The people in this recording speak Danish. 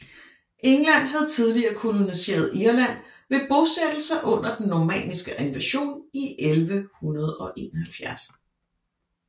England havde tidligt koloniseret Irland ved bosættelser under den normanniske invasion i 1171